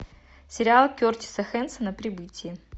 сериал кертиса хэнсона прибытие